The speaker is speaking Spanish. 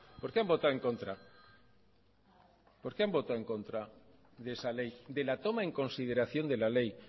en contra de esa ley de la toma en consideración de la ley